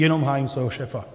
Jenom hájím svého šéfa.